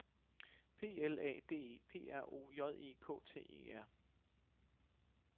P L A D E P R O J E K T E R